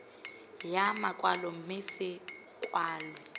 ya makwalo mme se kwalwe